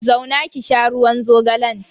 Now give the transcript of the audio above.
Zauna ki sha ruwan zogalan.